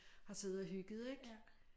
Har siddet og hygget ik